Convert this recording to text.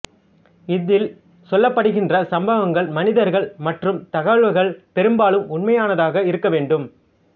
இதில் சொல்லப்படுகின்ற சம்பவங்கள் மனிதர்கள் மற்றும் தகவல்கள் பெரும்பாலும் உண்மையானதாக இருக்க வேண்டும்